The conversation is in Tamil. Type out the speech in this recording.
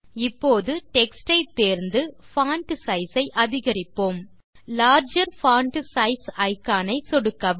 இப்போது டெக்ஸ்ட் ஐ தேர்ந்து பான்ட் சைஸ் ஐ அதிகரிப்போம் இப்போது லார்ஜர் பான்ட் சைஸ் இக்கான் ஐ சொடுக்கவும்